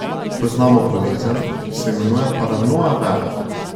Poznamo bolezen, ki se imenuje paranoia vera.